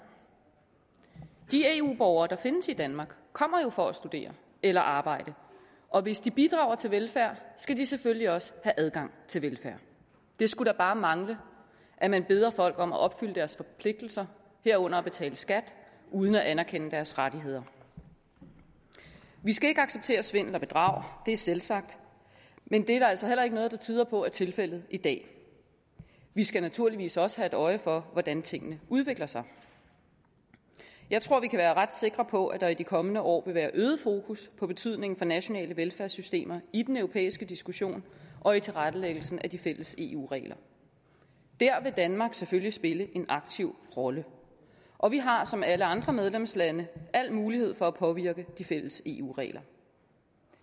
de eu borgere der findes i danmark kommer jo for at studere eller arbejde og hvis de bidrager til velfærd skal de selvfølgelig også have adgang til velfærd det skulle da bare mangle at man beder folk om at opfylde deres forpligtelser herunder at betale skat uden at anerkende deres rettigheder vi skal ikke acceptere svindel og bedrag det er selvsagt men det er der altså heller ikke noget der tyder på er tilfældet i dag vi skal naturligvis også have øje for hvordan tingene udvikler sig jeg tror vi kan være ret sikre på at der i de kommende år vil være øget fokus på betydningen for nationale velfærdssystemer i den europæiske diskussion og i tilrettelæggelsen af de fælles eu regler der vil danmark selvfølgelig spille en aktiv rolle og vi har som alle andre medlemslande al mulighed for at påvirke de fælles eu regler